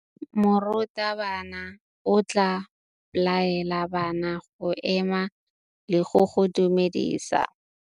Morutabana o tla laela bana go ema le go go dumedisa.